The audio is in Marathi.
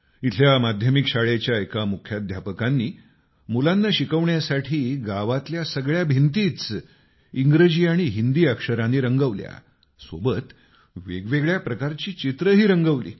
इथल्या माध्यमिक शाळेच्या एका मुख्याध्यापकांनी मुलांना शिकवण्यासाठी गावातल्या सगळ्या भिंतीच इंग्रजी आणि हिंदी अक्षरांनी रंगवल्या सोबत वेगवेगळ्या प्रकारची चित्रही रंगवली